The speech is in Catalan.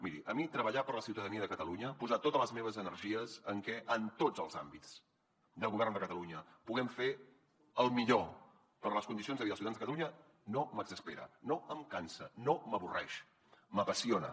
miri a mi treballar per la ciutadania de catalunya posar totes les meves energies en que en tots els àmbits de govern de catalunya puguem fer el millor per les condicions de vida dels ciutadans de catalunya no m’exaspera no em cansa no m’avorreix m’apassiona